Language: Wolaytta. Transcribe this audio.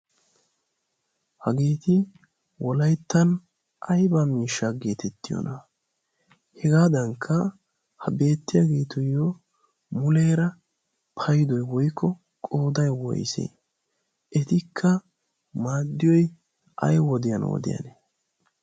hageeti wolayttan ayba miishaa geetettiyoona hegaadankka ha beettiyaageetuyyo muleera paydoy woikko qooday woyse etikka maadiyoy ay wodiyan wodiyaane?